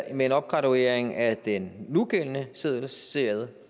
med en opgraduering af den nugældende seddelserie